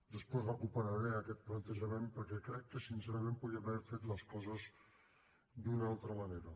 després recuperaré aquest plantejament perquè crec que sincerament podríem haver fet les coses d’una altra manera